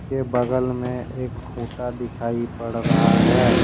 के बगल में एक खूंटा दिखाई पड़ा रहा है।